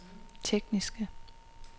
tekniske